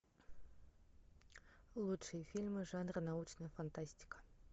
лучшие фильмы жанра научная фантастика